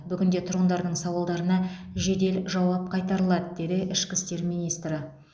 бүгінде тұрғындардың сауалдарына жедел жауап қайтарылады деді ішкі істер министрі